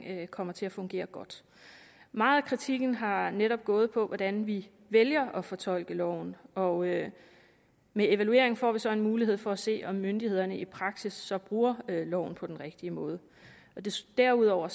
det kommer til at fungere godt meget af kritikken har netop gået på hvordan vi vælger at fortolke loven og med evalueringen får vi så en mulighed for at se om myndighederne i praksis så bruger loven på den rigtige måde derudover